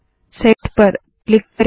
set पर click करे